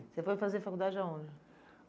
Você foi fazer faculdade aonde?